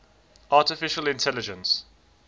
artificial intelligence